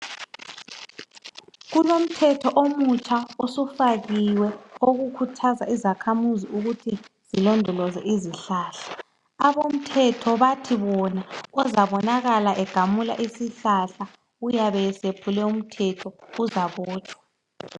Kulomthetho omutsha osufakiwe okukhuthaza izakhamizi ukuthi zilondoloze izihlahla, abamthetho bathi bona ozabonakala egamula isihlahla uyabe esephule umthetho uzabotshwa .